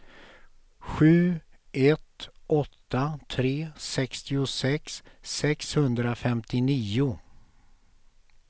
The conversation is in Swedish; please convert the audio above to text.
sju ett åtta tre sextiosex sexhundrafemtionio